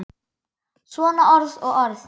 Svona orð og orð.